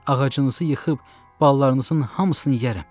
Ağacınızı yıxıb balalarınızın hamısını yeyərəm.